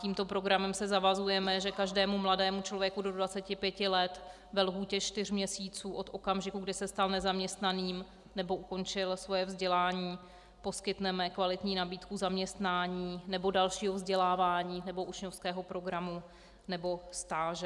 Tímto programem se zavazujeme, že každému mladému člověku do 25 let ve lhůtě čtyř měsíců od okamžiku, kdy se stal nezaměstnaným nebo ukončil svoji vzdělání, poskytneme kvalitní nabídku zaměstnání nebo dalšího vzdělávání nebo učňovského programu nebo stáže.